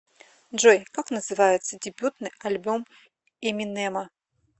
джой как называется дебютный альбом эминема